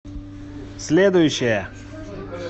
следующая